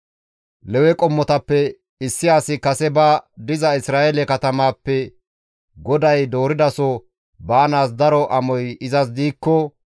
Lewe qommotappe issi asi kase ba diza Isra7eele katamappe GODAY dooridaso baanaas daro amoy izas diikko,